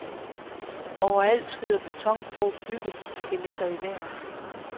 Overalt skyder betongrå byggeskeletter i vejret.